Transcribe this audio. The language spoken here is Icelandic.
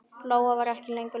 Lóa var ekki lengur Lóa.